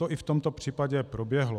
To i v tomto případě proběhlo.